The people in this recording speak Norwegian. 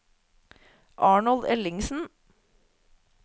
Arnold Ellingsen